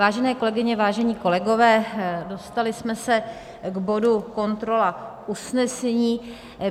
Vážené kolegyně, vážení kolegové, dostali jsme se k bodu kontrola usnesení.